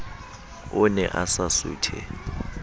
o ne a sa suthe